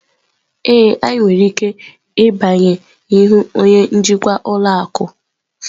Ee, anyị nwere ike ịbanye ịhụ onye njikwa ụlọ akụ.